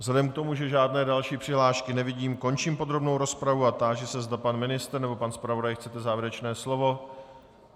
Vzhledem k tomu, že žádné další přihlášky nevidím, končím podrobnou rozpravu a táži se, zda pan ministr nebo pan zpravodaj chtějí závěrečné slovo.